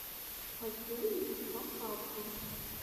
хочу увидеть подкасты